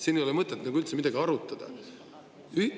Siin ei ole mõtet üldse midagi arutada.